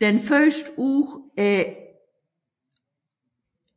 Den første uge